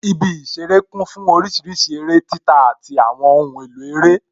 Ibi ìṣeré kún fún orísìírísìí eré títa àti àwọn ohun èlò rẹ